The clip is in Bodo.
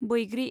बैग्रि